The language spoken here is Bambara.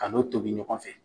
K'a n'o tobi ɲɔgɔn fɛ.